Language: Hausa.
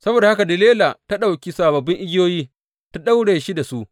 Saboda haka Delila ta ɗauki sababbin igiyoyi ta ɗaura shi da su.